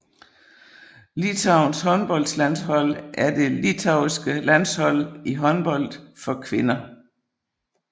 Litauens håndboldlandshold er det litauiske landshold i håndbold for kvinder